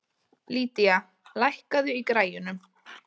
Lydia, lækkaðu í græjunum.